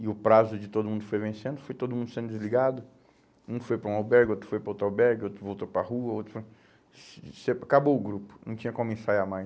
e o prazo de todo mundo foi vencendo, foi todo mundo sendo desligado, um foi para um albergue, outro foi para outro albergue, outro voltou para a rua, acabou o grupo, não tinha como ensaiar mais.